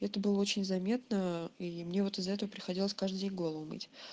это было очень заметно и мне вот из-за этого приходилось каждый голову мыть